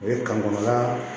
O ye kan kɔnɔna